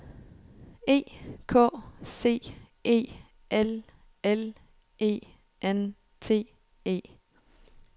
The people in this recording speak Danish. E K C E L L E N T E